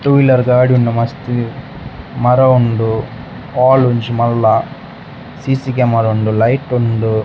To wheeler ಗಾಡಿ ಉಂಡು ಮಸ್ತ್ ಮರ ಉಂಡು ಹಾಲ್ ಒಂಜಿ ಮಲ್ಲ ಸಿಸಿ ಕ್ಯಾಮರ ಉಂಡು ಲೈಟ್ ಉಂಡು .